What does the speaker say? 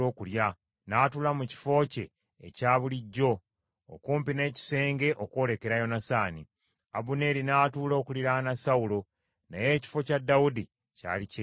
N’atuula mu kifo kye ekya bulijjo okumpi n’ekisenge okwolekera Yonasaani. Abuneeri n’atuula okuliraana Sawulo, naye ekifo kya Dawudi kyali kyereere.